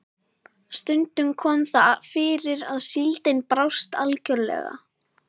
Stundum kom það fyrir að síldin brást algjörlega.